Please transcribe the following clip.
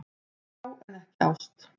Þrá en ekki ást